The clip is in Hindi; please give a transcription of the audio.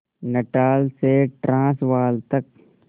नटाल से ट्रांसवाल तक